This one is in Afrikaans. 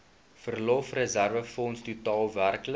verlofreserwefonds totaal werklik